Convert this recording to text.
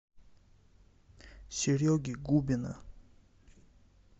сереги губина